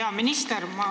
Hea minister!